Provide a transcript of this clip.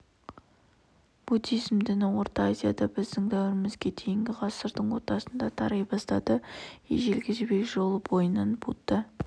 мәдениетінің бірталай ескерткіші табылды қазақстан аумағында қалмақтар да ғибадатхана мен шіркеу сала бастаған мәселен мынау